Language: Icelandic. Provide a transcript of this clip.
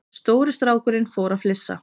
Stóri strákurinn fór að flissa.